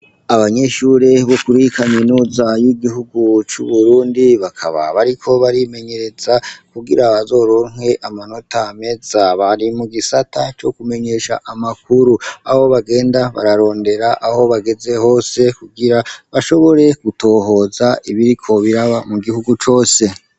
Abanyeshure bo kuri kaminuza y'igihugu cu Burundi bakaba bariko barimenyereza kugira bazoronke amanota ameza bari mu gisata cyo kumenyesha amakuru .Aho bagenda bararondera aho bageze hose kugira bashobore gutohoza ibiriko biraba mu gihugu cose.